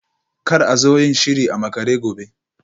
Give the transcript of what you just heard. Kar a zo yin shiri a makare gobe